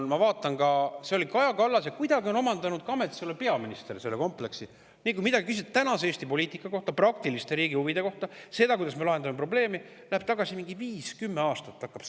– ma vaatan, et see oli Kaja Kallasel ja kuidagi on omandanud ka ametis olev peaminister selle kompleksi: nii kui midagi küsida tänase Eesti poliitika kohta, riigi praktiliste huvide kohta, seda, kuidas me lahendame mingit probleemi, minnakse viis kuni kümme aastat tagasi.